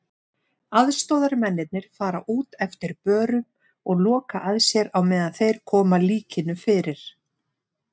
Aðstoðarmennirnir fara út eftir börum og loka að sér á meðan þeir koma líkinu fyrir.